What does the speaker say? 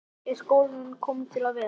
Er skólinn kominn til að vera?